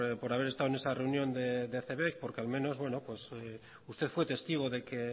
por haber estado en esa reunión de cebek porque al menos bueno usted fue testigo de que